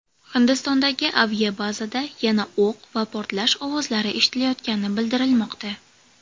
Hindistondagi aviabazada yana o‘q va portlash ovozlari eshitilayotgani bildirilmoqda.